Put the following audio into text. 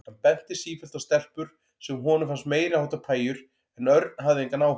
Hann benti sífellt á stelpur sem honum fannst meiriháttar pæjur en Örn hafði engan áhuga.